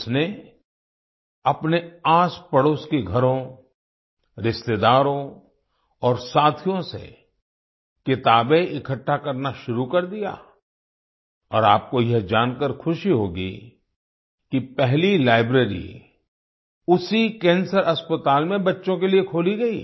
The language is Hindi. उसने अपने आसपड़ोस के घरों रिश्तेदारों और साथियों से किताबें इकट्ठा करना शुरू कर दिया और आपको यह जानकार खुशी होगी कि पहली लाइब्रेरी उसी कैंसर अस्पताल में बच्चों के लिए खोली गई